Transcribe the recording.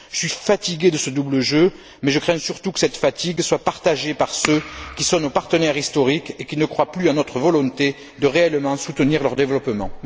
Je suis fatigué de ce double jeu mais je crains surtout que cette fatigue soit partagée par ceux qui sont nos partenaires historiques et qui ne croient plus en notre volonté de réellement soutenir leur développement.